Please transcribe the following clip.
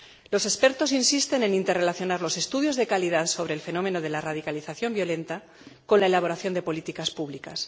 Los expertos insisten en relacionar los estudios de calidad sobre el fenómeno de la radicalización violenta con la elaboración de políticas públicas.